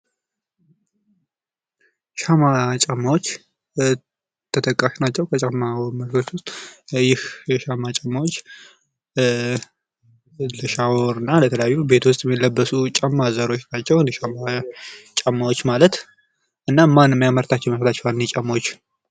ሻማ ጫማወች ተጠቃሽ ናቸዉ። በጫማ ምርት ዉስጥ። ይህ የሻማ ጫዎች ለሻወር እና ለተለያዩ ቤት ዉስጥ ለሚለበሱ ጫማ ዘሮች ናቸዉ የሻማ ጫማዎች ማለት እና ማን የሚያመርታቸዉ ይመስሏችኋል እኒህ ጫማዎች?